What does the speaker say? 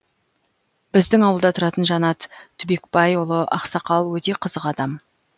біздің ауылда тұратын жанат түбекбайұлы ақсақал өте қызық адам